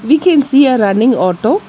We can see a running auto.